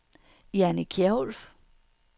Janni Kjærulff